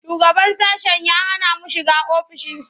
Shugaban sashen ya hana mu shiga ofishinsa.